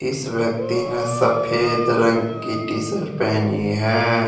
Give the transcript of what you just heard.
इस व्यक्ति ने सफेद रंग की टी शर्ट पहनी है।